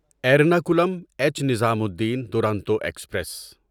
Ernakulam H Nizamuddin Duronto express